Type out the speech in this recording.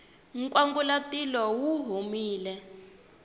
nkwangulatilo wu humile